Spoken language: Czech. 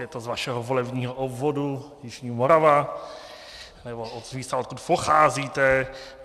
Je to z vašeho volebního obvodu jižní Morava, nebo z místa, odkud pocházíte.